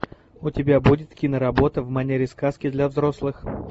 у тебя будет киноработа в манере сказки для взрослых